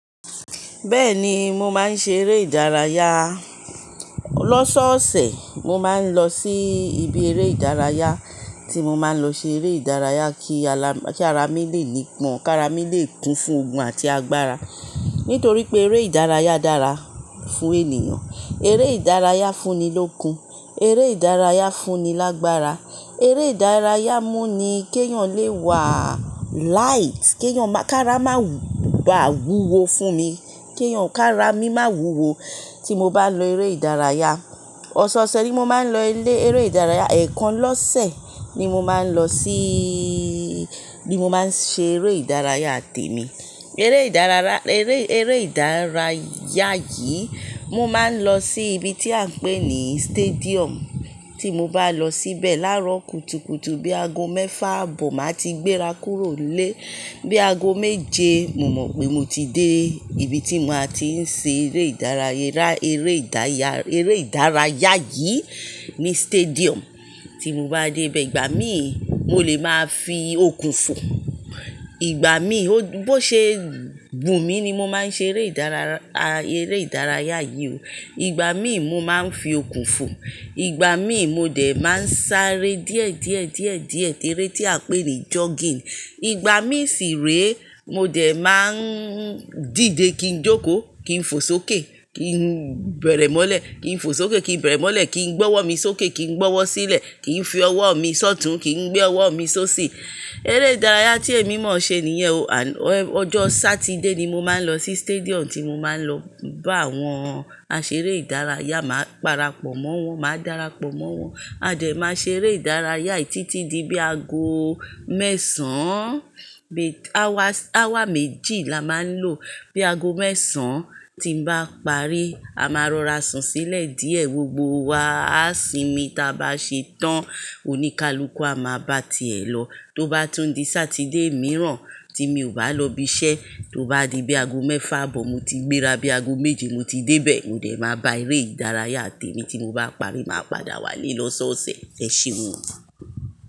Bẹ́ẹ̀ni, mo máa ń ṣe eré ìdárayá. Lọ́sọ̀ọ̀sẹ̀ mo máa ń lọ sí ibi eré ìdárayá tí mo máa ń lọ ṣe eré ìdárayá kí ara mi lè nípọn, kí ara mi lè kún fún okun àti agbára. Nítorí pé eré ìdárayá dára fún ènìyàn. Eré ìdárayá fún ni lókun, eré ìdárayá fún ni lágbára, eré ìdárayá mú ni kí èèyàn lè wà light kèèyàn máa-- kí ara máa bà wúwo fún mi, kí ara mi má wuwo tí mo bá lọ eré ìdárayá. Ọ̀sọ̀ọ̀sẹ̀ ni mo máa ń lọ ilé eré ìdárayá. Ẹ̀ẹ̀kan lọ́sẹ̀ ni mo máa ń lọ síí, ní mo máa ń ṣe eré ìdárayá tèmi. Eré ìdárayá, eré, eré ìdárayá yìí mo máa ń lọ sí ibi tí à ń pè ní stadium. Tí mo bá lọ síbẹ̀ láró kutukutu bí aago mẹ́fà aabọ̀, màá ti gbéra kúrò nílé. Bí aago méje, mo mọ̀ pé mo ti dé ibi tí mo ti máa ń ṣe eré ìdárayá, eré ìdárayá, eré ìdárayá yìí ní stadium. Tí mo bá dé ibẹ̀, ìgbà míì mo lè máa fi okùn fò. Ìgbà míì, bó ṣe wù mí ni mo máa ń ṣe eré ìdárayá, eré ìdárayá yìí o. Ìgbà míì mo máa ń fi okùn fò. Ìgbà míì mo dẹ̀ máa ń sáré díẹ̀, díẹ̀, díẹ̀, díẹ̀, eré tí à ń pè ní jogging. Ìgbà míì sì ré mo dẹ̀ má ń dìde kí n jókòó, kí n fò sókè, kí n bẹ̀rẹ̀ mọ́lẹ̀, kí n fò sókè, kí n bẹ̀rẹ̀ mọ́lẹ̀, kí n gbọ́wọ́ mi sókè, kí n gbọ́wọ́ sílẹ̀, kí n fi ọwọ́ mi sọ́tùn, kí n gbé ọwọ́ mi sóṣì. Eré ìdárayá tí èmi mọ̀ ṣe nìyẹn o. Ọjọ́ Sátidé ni mo máa ń lọ sí stadium tí mo máa ń lọ bá àwọn aṣeré ìdárayá, màá parapọ̀ mọ́ wọn, màá darapọ̀ mọ́ wọn. A dẹ̀ máa ṣe eré ìdárayá títí di bí aago mẹ́sàn-án. Bé-- hour, hour méjì la máa ń lò. Bí aago mẹ́sàn-án tí ń bá parí, a máa rọra sun sílẹ̀ díẹ̀, gbogbo wa. A sì mí ta bá ṣe tán, oníkálukú a máa bá ti è lọ. Tó bá tún di Sátidé mìíràn tí mi ò bá lọ ibi iṣẹ́, tó bá di bí aago mẹ́fà aabọ̀ mo ti gbéra, bí aago méje mo ti dé bè. Mo dẹ̀ máa bá eré ìdárayá tèmi tí mo bá parí, màá padà wálé lọ́sọ̀ọ̀sẹ̀. Ṣé ẹ ṣéwu?